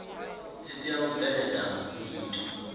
dzi tea u bveledza nyito